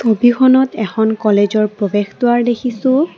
ছবিখনত এখন কলেজৰ প্ৰৱেশদুৱাৰ দেখিছোঁ।